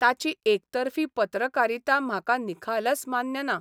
ताची एकतर्फी पत्रकारिता म्हाका निखालस मान्य ना.